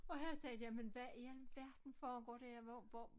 Og han sagde jamen hvad i al verden foregår der ja hvor hvor